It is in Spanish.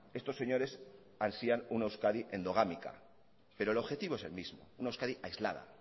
estos señores ansían una euskadi endogámica pero el objetivo es el mismo una euskadi aislada